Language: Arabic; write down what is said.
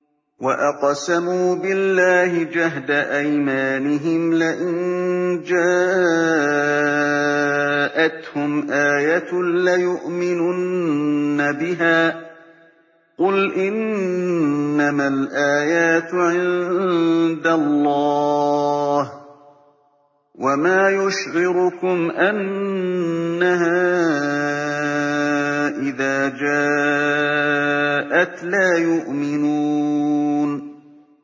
وَأَقْسَمُوا بِاللَّهِ جَهْدَ أَيْمَانِهِمْ لَئِن جَاءَتْهُمْ آيَةٌ لَّيُؤْمِنُنَّ بِهَا ۚ قُلْ إِنَّمَا الْآيَاتُ عِندَ اللَّهِ ۖ وَمَا يُشْعِرُكُمْ أَنَّهَا إِذَا جَاءَتْ لَا يُؤْمِنُونَ